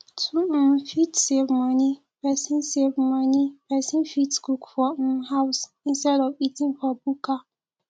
to um fit save money person save money person fit cook for um house instead of eating for bukka